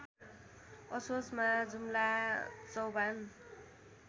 असोजमा जुम्ला चौभान